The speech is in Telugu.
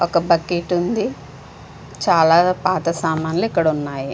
ఒక బకెట్ ఉంది. చాలా పాత సామాన్లు ఇక్కడ ఉన్నాయి.